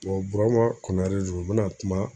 Burama konare don n bɛna kuma